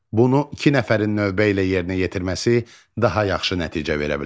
Bunu iki nəfərin növbə ilə yerinə yetirməsi daha yaxşı nəticə verə bilər.